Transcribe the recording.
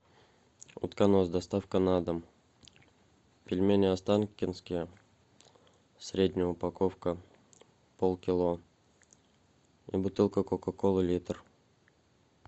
утконос доставка на дом пельмени останкинские средняя упаковка полкило и бутылка кока колы литр